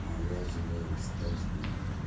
а я желаю с каждым